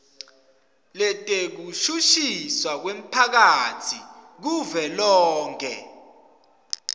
letekushushiswa kwemphakatsi kuvelonkhe